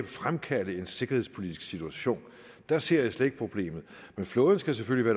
fremkalde en sikkerhedspolitisk situation der ser jeg slet ikke et problem men flåden skal selvfølgelig